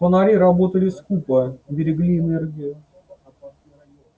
фонари работали скупо берегли энергию